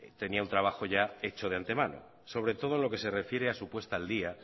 tenía un trabajo ya hecho de antemano sobre todo lo que se refiere a su puesta al día